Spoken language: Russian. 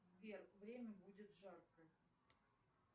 сбер время будет жарко